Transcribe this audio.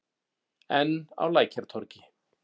Enn á Lækjartorgi.